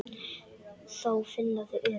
Þá finna þau öryggi.